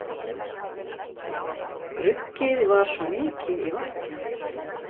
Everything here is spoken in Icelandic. Gruggið var svo mikið í vatninu